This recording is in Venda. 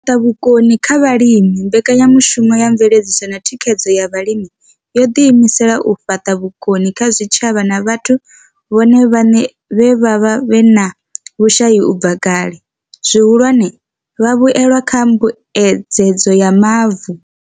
U fhaṱa vhukoni kha vhalimi mbekanyamushumo ya mveledziso na thikhedzo ya vhalimi yo ḓi imisela u fhaṱa vhukoni kha zwitshavha na vhathu vhone vhaṋe vhe vha vha vhe na vhushai u bva kale, zwihulwane, vhavhuelwa kha mbuedzedzo ya mavu.